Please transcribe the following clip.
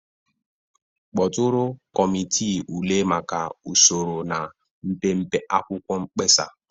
Kpọtụrụ kọmiti ule maka usoro na mpempe akwụkwọ mkpesa.